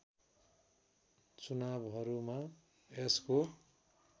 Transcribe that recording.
चुनावहरूमा यसको